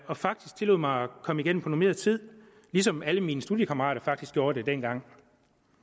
og faktisk tillod mig at komme igennem på normeret tid ligesom alle mine studiekammerater faktisk gjorde det dengang